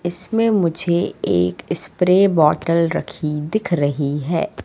इसमे मुझे एक स्प्रे बॉटल रखी दिख रही है।